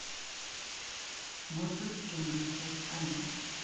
моцарт в джунглях часть один